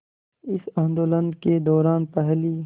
इस आंदोलन के दौरान पहली